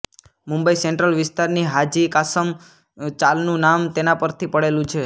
Mumbai central વિસ્તારની હાજી કાસમ ચાલનું નામ તેના પરથી પડેલું છે